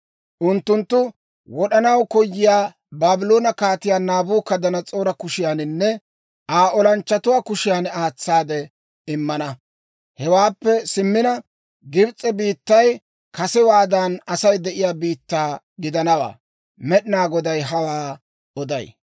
Unttunttu wod'anaw koyiyaa Baabloone Kaatiyaa Naabukadanas'oora kushiyaaninne Aa olanchchatuwaa kushiyan aatsaade immana. «Hewaappe simmina, Gibs'e biittay kasewaadan Asay de'iyaa biittaa gidanawaa. Med'inaa Goday hawaa oday.